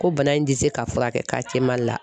Ko bana in tɛ se ka fura kɛ Mali la.